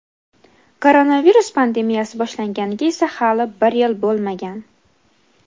Koronavirus pandemiyasi boshlanganiga esa hali bir yil bo‘lmagan.